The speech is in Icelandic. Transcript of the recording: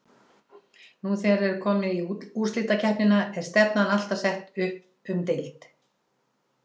Nú þegar er komið í úrslitakeppnina er stefnan ekki alltaf sett upp um deild?